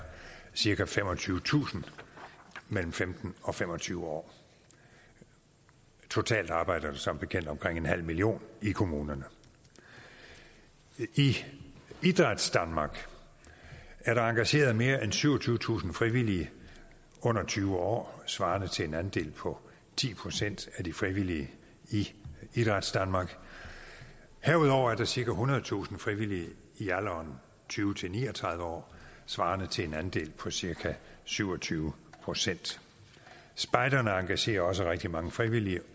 cirka femogtyvetusind mellem femten og fem og tyve år totalt arbejder der som bekendt omkring en halv million i kommunerne i idrætsdanmark er der engageret mere end syvogtyvetusind frivillige under tyve år svarende til en andel på ti procent af de frivillige i idrætsdanmark herudover er der cirka ethundredetusind frivillige i alderen tyve til ni og tredive år svarende til en andel på cirka syv og tyve procent spejderne engagerer også rigtig mange frivillige